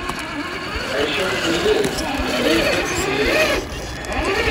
Aisho nkulie pee ipik siiye?